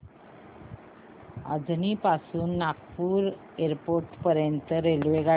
अजनी पासून नागपूर एअरपोर्ट पर्यंत रेल्वेगाडी